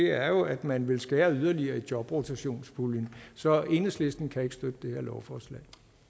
er at man vil skære yderligere i jobrotationspuljen så enhedslisten kan ikke støtte det her lovforslag